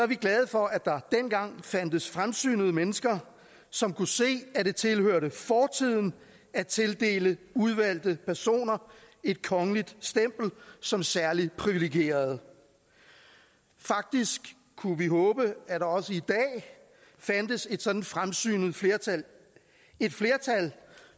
vi glade for at der dengang fandtes fremsynede mennesker som kunne se at det tilhørte fortiden at tildele udvalgte personer et kongeligt stempel som særligt privilegeret faktisk kunne vi håbe at der også i dag fandtes et sådant fremsynet flertal et flertal